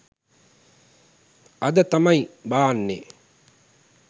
අද තමයි බාන්නේ